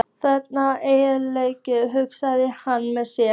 Þangað á enginn erindi, hugsaði hann með sér.